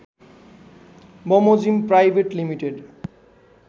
बमोजिम private limited